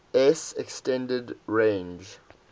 s extended range